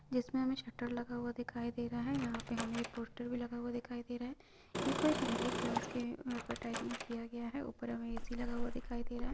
जिसमे हमें शटर लगा हुआ दिखाई दे रहा है यहाँ पे हमें एक पोस्टर भी लगा हुआ दिखाई दे रहा है ये कोई संगीत क्लास के एडवरटाइस्मेंट किया गया है ऊपर हमे ए_सी लगा हुआ दिखाई दे रहा है।